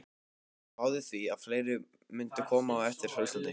Spáði því að fleiri mundu koma á eftir frá Íslandi.